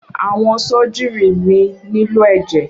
Awọn sọjírì mi nílò ẹjẹ.